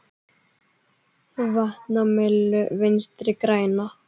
Vatn á myllu Vinstri grænna?